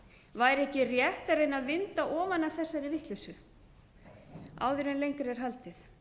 væri ekki rétt að reyna að vinda ofan af þessari vitleysu áður en lengra er haldið